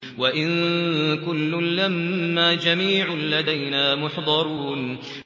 وَإِن كُلٌّ لَّمَّا جَمِيعٌ لَّدَيْنَا مُحْضَرُونَ